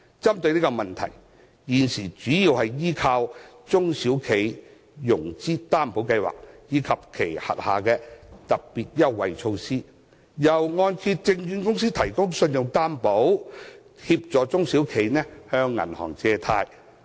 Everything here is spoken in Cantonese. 針對這個問題，中小企現時主要依靠中小企融資擔保計劃及其轄下的特別優惠措施，由按揭證券公司提供信用擔保，協助它們向銀行借貸。